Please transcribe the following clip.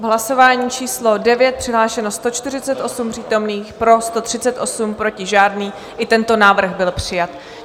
V hlasování číslo 9 přihlášeno 148 přítomných, pro 138, proti žádný, i tento návrh byl přijat.